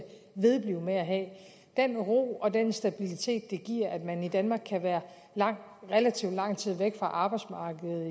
vedblive med at have den ro og den stabilitet det giver at man i danmark kan være relativ lang tid væk fra arbejdsmarkedet